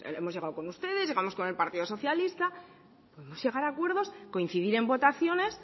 hemos llegado con ustedes llegamos con el partido socialista podemos llegar a acuerdos coincidir en votaciones